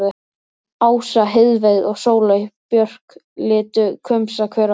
Ása, Heiðveig og Sóley Björk litu hvumsa hver á aðra.